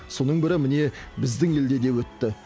соның бірі міне біздің елде де өтті